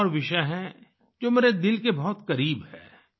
एक और विषय है जो मेरे दिल के बहुत करीब है